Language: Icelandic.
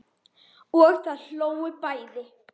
Og þau hlógu bæði.